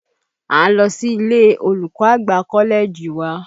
À ń lọ si ilé olùkọ́ àgbà kọ́lẹ́ẹ̀jì wa